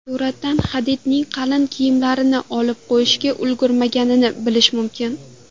Suratdan Hadidning qalin kiyimlarini olib qo‘yishga ulgurmaganini bilish mumkin.